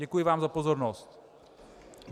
Děkuji vám za pozornost.